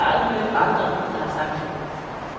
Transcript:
Jeg har aldrig mødt andre, der har sagt det.